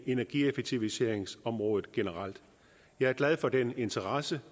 energieffektiviseringsområdet generelt jeg er glad for den interesse